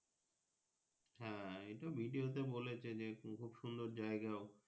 হ্যাঁ এটা Video তে বলেছে যে খুব সুন্দর জায়গাও।